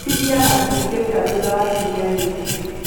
cithiaga cicioika thutha wa ciumia nini.